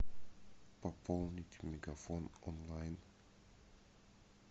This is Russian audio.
пополнить мегафон онлайн